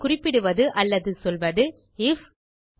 இங்கே குறிப்பிடுவது அல்லது சொல்வது ஐஎஃப்